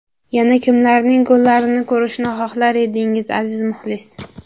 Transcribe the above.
Yana kimlarning gollarini ko‘rishni xohlar edingiz, aziz muxlis?